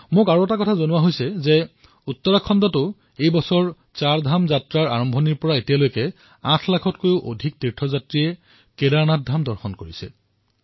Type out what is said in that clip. মোক কোৱা হৈছে যে উত্তৰাখণ্ডতো এই বৰ্ষত যেতিয়া চাৰধাম যাত্ৰাৰ আৰম্ভণি হৈছিল তেতিয়াৰে পৰা ডেৰ মাহৰ ভিতৰত ৮ লাখতকৈও অধিক শ্ৰদ্ধালুৱে কেদাৰনাথ ধাম দৰ্শন কৰিছে